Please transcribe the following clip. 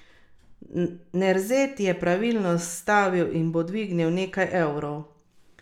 Pred jadralci sta še dva tekmovalna dneva in pet predvidenih plovov.